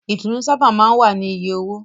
Ìtùnú sábà máa ń wá ní iye owó.